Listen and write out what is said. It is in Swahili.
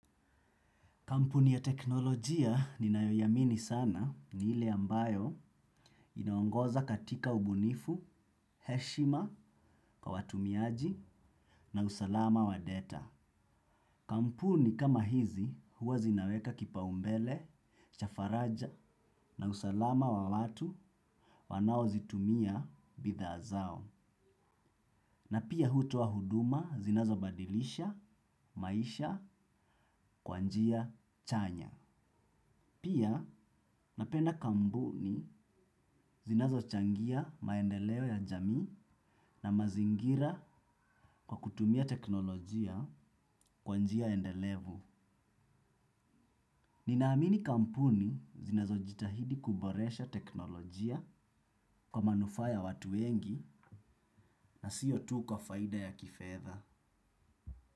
Kampuni ya teknolojia ninayoiamini sana ni ile ambayo inaongoza katika ubunifu, heshima, kwa watumiaji na usalama wa data. Kampuni kama hizi huwa zinaweka kipa umbele, cha faraja na usalama wa watu wanaozitumia bidhaa zao. Na pia hutoa huduma zinazabadilisha, maisha, kwa njia, chanya. Pia napenda kampuni zinazo changia maendeleo ya jamii na mazingira kwa kutumia teknolojia kwa njia endelevu. Ninaamini kampuni zinazo jitahidi kuboresha teknolojia kwa manufaa ya watu wengi na siyo tu kwa faida ya kifedha.